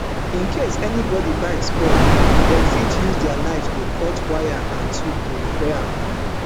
in case anybodi bicycle spoil dem fit use di knife to cut wire and tubes to repair am